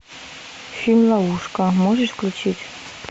фильм ловушка можешь включить